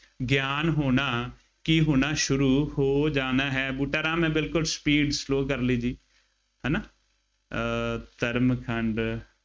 ਗਿਆਨ ਹੋਣਾ, ਕੀ ਹੋਣਾ ਸ਼ੁਰੂ ਹੋ ਜਾਣਾ ਹੈ। ਬੂਟਾ ਰਾਮ ਮੈਂ ਬਿਲਕੁੱਲ sleep slow ਕਰ ਲਈ ਜੀ। ਹੈ ਨਾ, ਅਹ ਧਰਮ ਖੰਡ